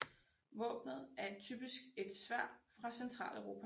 Våbenet er typisk et sværd fra Centraleuropa